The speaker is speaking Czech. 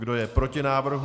Kdo je proti návrhu?